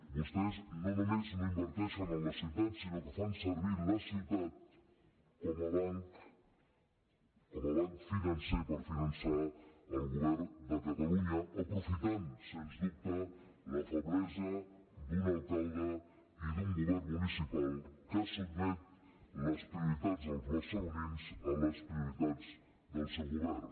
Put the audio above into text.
vostès no només no inverteixen en la ciutat sinó que fan servir la ciutat com a banc com a banc financer per finançar el govern de catalunya aprofitant sens dubte la feblesa d’un alcalde i d’un govern municipal que sotmet les prioritats dels barcelonins a les prioritats del seu govern